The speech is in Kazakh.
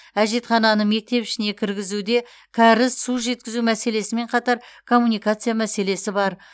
әжетхананы мектеп ішіне кіргізуде кәріз су жеткізу мәселесімен қатар коммуникация мәселесі бар